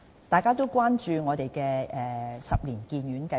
大家都關注十年醫院發展計劃。